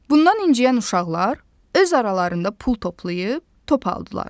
Bundan inciyən uşaqlar öz aralarında pul toplayıb, top aldılar.